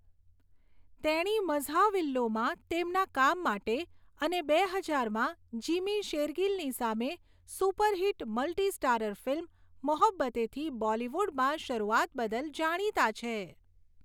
તેણી 'મઝહાવિલ્લુ'માં તેમના કામ માટે અને બે હજારમાં જીમી શેરગીલની સામે super hit multi starrer film 'મોહબ્બતેં'થી બોલીવુડમાં શરૂઆત બદલ જાણીતાં છે.